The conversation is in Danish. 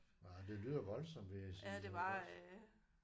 Nej men det lyder voldsomt vil jeg sige iggås